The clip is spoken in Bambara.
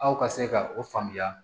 Aw ka se ka o faamuya